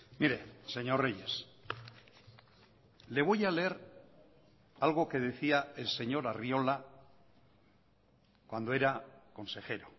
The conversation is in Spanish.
mire señor reyes le voy a leer algo que decía el señor arriola cuando era consejero